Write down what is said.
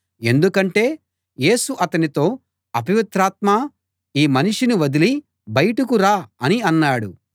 ఎందుకంటే యేసు అతనితో అపవిత్రాత్మా ఈ మనిషిని వదలి బయటకు రా అని అన్నాడు